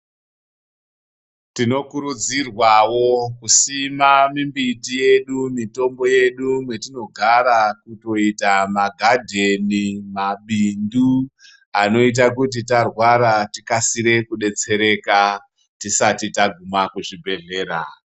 Tino kurudzirwawo kusima mimbiti yedu mitombo yedu mwetinogara kutoita ma gadheni mabindu anoita kuti tarwara tikasire ku detsereka tisati taguma kuzvi bhedhlera.